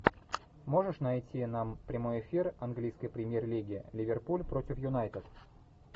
можешь найти нам прямой эфир английской премьер лиги ливерпуль против юнайтед